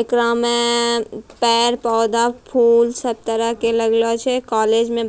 एकरा में पेड़-पौधा-फूल सब तरह के लगलो छे कॉलेज में बच --